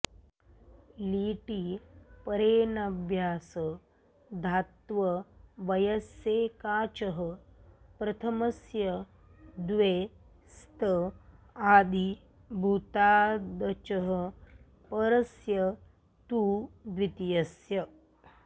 लिटि परेऽनभ्यासधात्ववयस्यैकाचः प्रथमस्य द्वे स्त आदिभूतादचः परस्य तु द्वितीयस्य